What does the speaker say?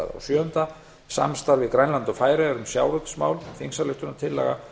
sjöunda samstarf við grænland og færeyjar um sjávarútvegsmál þingsályktunartillögu